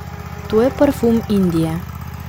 To je parfum Indije.